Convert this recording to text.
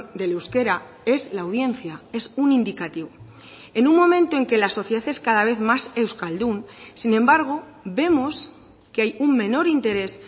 del euskera es la audiencia es un indicativo en un momento en que la sociedad es cada vez más euskaldun sin embargo vemos que hay un menor interés